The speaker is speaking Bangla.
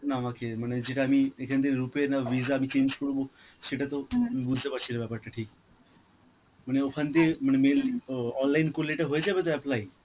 আমাকে, মানে যেতাম এখান দিয়ে rupay না visa আমি change করব, সেটা তো বুঝতে পারছি না ব্যাপারটা ঠিক. মানে ওখান দিয়ে~ মানে mail ও~ online করলে এটা হয়ে যাবে তো apply?